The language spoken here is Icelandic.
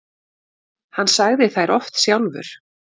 Hann sagði þær oft sjálfur.